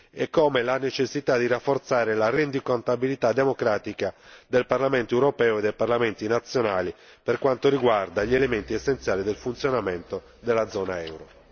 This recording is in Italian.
e con la necessità di rafforzare la rendicontabilità democratica del Parlamento europeo e dei parlamenti nazionali per quanto riguarda gli elementi essenziali del funzionamento della zona euro.